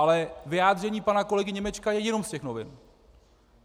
Ale vyjádření pana kolegy Němečka je jenom z těch novin.